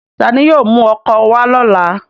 Tani yóò mu ọ́kọ wa lọla?